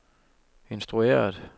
instrueret